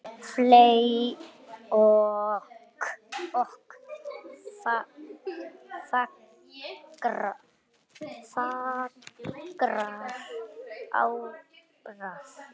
fley ok fagrar árar